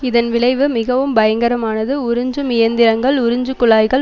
இதன் விளைவு மிகவும் பயங்கரமானது உறிஞ்சும் இயந்திரங்கள் உறிஞ்சு குழாய்கள்